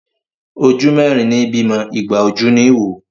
Ojú mẹ́rin ní bímọ, igba ojú ní wò.